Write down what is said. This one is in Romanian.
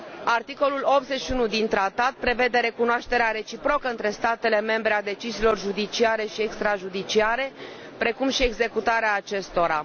Articolul 81 din Tratat prevede recunoașterea reciprocă între statele membre ale deciziilor judiciare și extra judiciare, precum și executarea acestora.